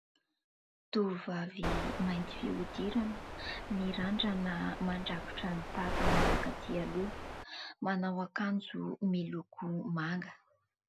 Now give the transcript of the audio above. Tovovavy mainty fihodiràna, mirandrana mandrakotra ny tavany makatỳ aloha, manao ankanjo miloko manga.